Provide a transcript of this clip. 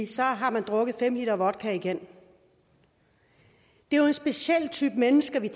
så har man drukket fem liter vodka igen det er jo en speciel type mennesker vi